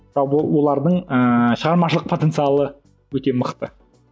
жалпы олардың ыыы шығармашылық потенциалы өте мықты